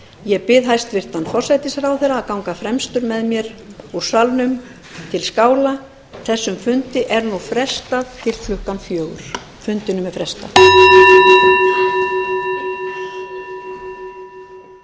ég bið hæstvirtan forsætisráðherra að ganga fremstan með mér úr salnum til skála þessum fundi er nú frestað til klukkan sextán